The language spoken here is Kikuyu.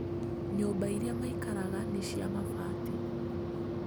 Nyũmba iria maikaraga nĩ cia mabati